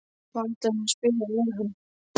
Varla er hún að spila með hann?